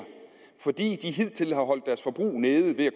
fordi de hidtil har holdt deres forbrug nede ved